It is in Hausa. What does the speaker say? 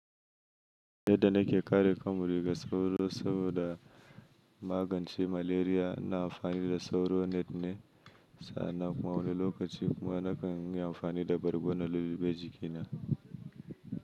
Yadda nake kare kanmu daga sauro saboda magance maleriya, na amfani da sauro net na sa'a nan kuma wani lokaci kuma nakan yi amfani da bargo na lulluɓe jikina.